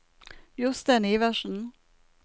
Jostein Iversen